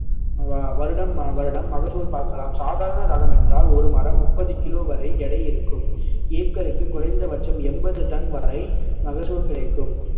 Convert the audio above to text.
வ~ வருடம் வருடம் மகசூல் பார்க்கலாம் சாதாரண ரகம் என்றால் ஒரு மரம் முப்பது கிலோ வரை எடை இருக்கும் ஏக்கருக்கு குறைந்த பட்சம் எண்பது டன் வரை மகசூல் கிடைக்கும்